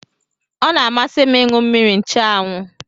Ọ na-amasị m ịṅụ mmiri nchụanwụ